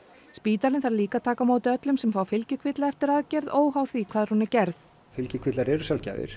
spítalinn þarf líka að taka á móti öllum sem fá fylgikvilla eftir aðgerð óháð því hvar hún var gerð fylgikvillar sjaldgæfir